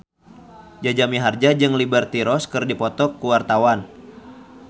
Jaja Mihardja jeung Liberty Ross keur dipoto ku wartawan